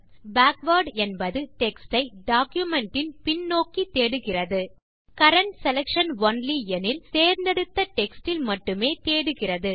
backwards என்பது text யை document இன் பின் நோக்கி தேடுகிறது கரண்ட் செலக்ஷன் ஒன்லி எனில் தேர்ந்தெடுத்த டெக்ஸ்ட் இல் மட்டுமே தேடுகிறது